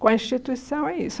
Com a instituição é isso.